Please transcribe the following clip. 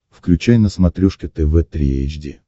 включай на смотрешке тв три эйч ди